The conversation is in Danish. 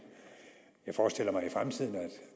jeg forestiller mig